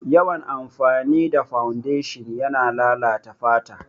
Yawan amfani da fawundeshin yana lalata fata